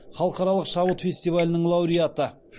халықаралық шабыт фестивалінің лауреаты